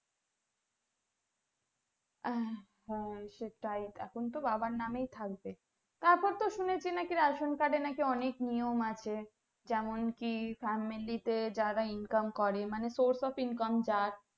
আহ হম সেটাই এখন তো বাবার নামেই থাকবে তারপর তো শুনেছি নাকি ration card এ নাকি অনেক নিয়ম আছে যেমন কি family তে যারা Income করে মানে source of income যার